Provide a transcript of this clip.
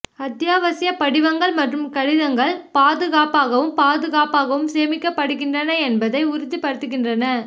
அத்தியாவசிய படிவங்கள் மற்றும் கடிதங்கள் பாதுகாப்பாகவும் பாதுகாப்பாகவும் சேமிக்கப்படுகின்றன என்பதை உறுதிப்படுத்துகின்றன